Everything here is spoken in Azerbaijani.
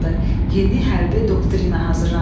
Yeni hərbi doktrina hazırlandı.